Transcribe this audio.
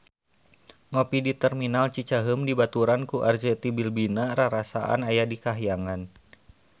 Ngopi di Terminal Cicaheum dibaturan ku Arzetti Bilbina rarasaan aya di kahyangan